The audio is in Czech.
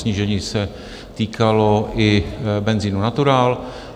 Snížení se týkalo i benzinu Natural.